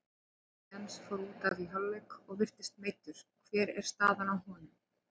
Atli Jens fór útaf í hálfleik og virtist meiddur, hver er staðan á honum?